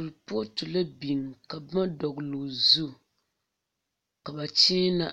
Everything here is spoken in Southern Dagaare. Koripooto la biŋ ka boma dɔgle o zu ka ba kyeena